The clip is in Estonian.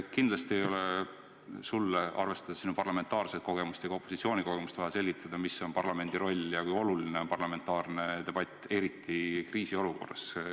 Kindlasti ei ole sulle – arvestades nii sinu parlamentaarset kogemust kui ka opositsiooni kogemust – vaja selgitada, mis on parlamendi roll ja kui oluline on parlamentaarne debatt, eriti kriisiolukorras.